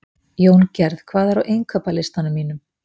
Jóngerð, hvað er á innkaupalistanum mínum?